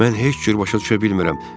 Mən heç cür başa düşə bilmirəm.